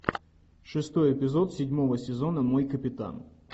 шестой эпизод седьмого сезона мой капитан